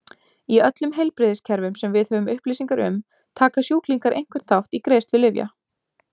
Í öllum heilbrigðiskerfum sem við höfum upplýsingar um taka sjúklingar einhvern þátt í greiðslu lyfja.